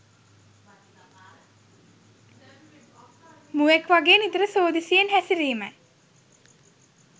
මුවෙක් වගේ නිතර සෝදිසියෙන් හැසිරීමයි